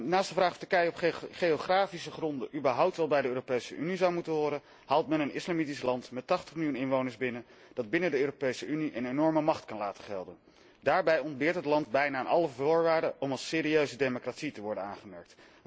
Naast de vraag of Turkije op geografische gronden überhaupt wel bij de Europese Unie zou moeten horen, haalt men een islamitisch land met 80 miljoen inwoners binnen, dat binnen de Europese Unie een enorme macht kan laten gelden. Daarbij voldoet het land praktisch aan geen van de voorwaarden om als serieuze democratie te worden aangemerkt.